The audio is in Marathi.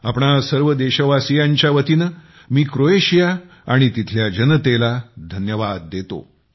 आपणा सर्व देशवासीयांच्या वतीने मी क्रोएशिया आणि तिथल्या जनतेला धन्यवाद देतो